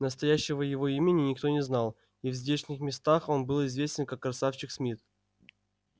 настоящего его имени никто не знал и в здешних местах он был известен как красавчик смит